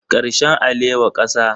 Karshen alewa kasa